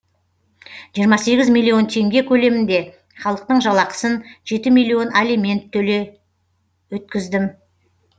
жиырма сегіз миллион теңге көлемінде халықтың жалақысын жеті миллион алимент төле өткіздім